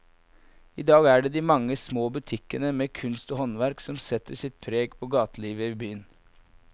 I dag er det de mange små butikkene med kunst og håndverk som setter sitt preg på gatelivet i byen.